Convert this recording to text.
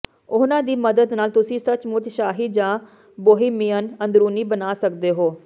ਉਹਨਾਂ ਦੀ ਮਦਦ ਨਾਲ ਤੁਸੀਂ ਸੱਚਮੁਚ ਸ਼ਾਹੀ ਜਾਂ ਬੋਹੀਮੀਅਨ ਅੰਦਰੂਨੀ ਬਣਾ ਸਕਦੇ ਹੋ